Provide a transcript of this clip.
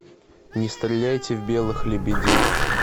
не стреляйте в белых лебедей